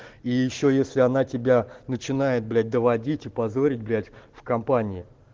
и ещё если она тебя начинает блять доводить и позорить блять в компании